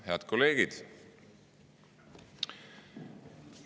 Head kolleegid!